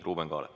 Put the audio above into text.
Ruuben Kaalep.